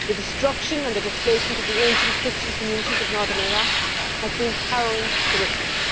The destruction and displacement of the ancient Christian communities of northern Iraq has been harrowing to witness.